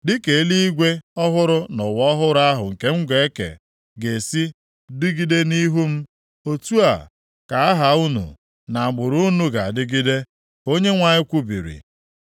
“Dịka eluigwe ọhụrụ na ụwa ọhụrụ ahụ nke m ga-eke ga-esi dịgide nʼihu m, otu a ka aha unu na agbụrụ unu ga-adịgide, ka Onyenwe anyị kwubiri.